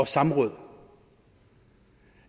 samråd